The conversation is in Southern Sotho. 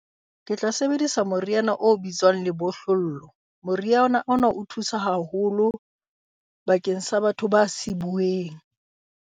Ke tla sebedisa moriana o bitswang lebohlollo. Moriana ona o thusa haholo bakeng sa batho ba sibueng.